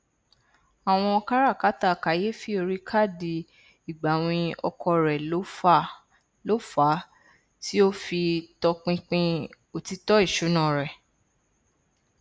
àwọn káràkátà kàyééfì orí káàdì ìgbàwìn ọkọ rẹ ló fà á tí ó fi tọpinpin òtítọ ìṣúná rẹ